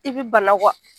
I bi bana